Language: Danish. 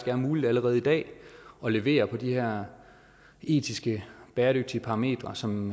er muligt allerede i dag at levere på de her etiske bæredygtige parametre som